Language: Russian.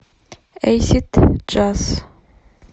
эйсид джаз